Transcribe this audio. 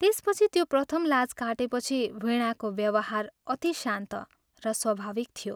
त्यसपछि त्यो प्रथम लाज काटेपछि वीणाको व्यवहार अति शान्त र स्वाभाविक थियो।